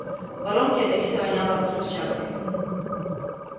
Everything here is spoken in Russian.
в воронке ядовито воняло взрывчаткой